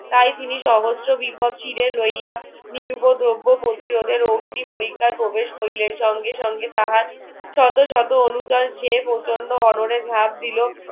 তাই তিনি সহস্র বিপদ চিড়ে রইয়া নিরুপদ্রব্য ও প্রতিরোধের অগ্নি পরীক্ষায় প্রবেশ করিলেন সঙ্গে সঙ্গে তাহার শত শত সে প্রচন্ড অনরে ঝাঁপ দিলো